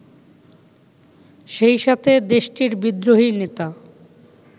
সেইসাথে দেশটির বিদ্রোহী নেতা